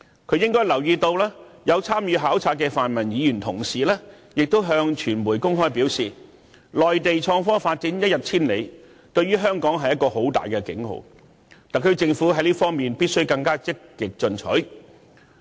他應留意到有參與考察的泛民議員向傳媒公開表示，內地創科發展一日千里，對香港是一個大警號，特區政府在這方面必須更積極進取。